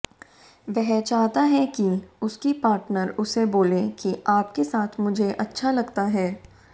वह चाहता है कि उसकी पार्टनर उसे बोले कि आपके साथ मुझे अच्छा लगता है